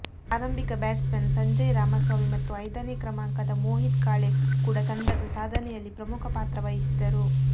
ಆರಂಭಿಕ ಬ್ಯಾಟ್ಸ್ಮನ್ ಸಂಜಯ್ ರಾಮಸ್ವಾಮಿ ಮತ್ತು ಐದನೇ ಕ್ರಮಾಂಕದ ಮೋಹಿತ್ ಕಾಳೆ ಕೂಡ ತಂಡದ ಸಾಧನೆಯಲ್ಲಿ ಪ್ರಮುಖ ಪಾತ್ರ ವಹಿಸಿದರು